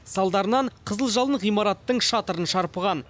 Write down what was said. салдарынан қызыл жалын ғимараттың шатырын шарпыған